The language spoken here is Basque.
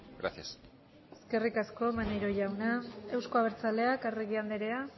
gracias eskerrik asko maneiro jauna euzko abertzaleak arregi anderea